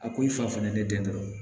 A ko i fa fana ye ne den dɔrɔn